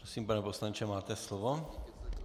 Prosím, pane poslanče, máte slovo.